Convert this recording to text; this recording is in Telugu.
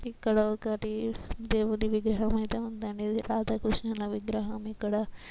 ఇక్కడ ఒకటి దేవుడి విగ్రహం అయితే ఉందనేది. రాధా కృష్ణల విగ్రహం.ఇక్కడ--